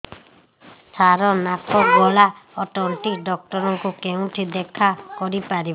ସାର ନାକ ଗଳା ଓ ତଣ୍ଟି ଡକ୍ଟର ଙ୍କୁ କେଉଁଠି ଦେଖା କରିପାରିବା